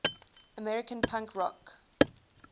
american punk rock